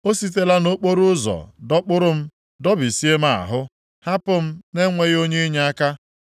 o sitela nʼokporoụzọ dọkpụrụ m dọbisie m ahụ, hapụ m na-enweghị onye inyeaka.